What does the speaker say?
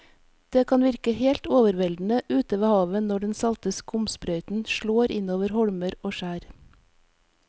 Det kan virke helt overveldende ute ved havet når den salte skumsprøyten slår innover holmer og skjær.